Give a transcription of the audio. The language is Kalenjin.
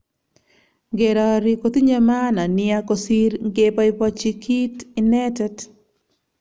Ngerari kotinye maana nia kosir ngepapaich kit inetet.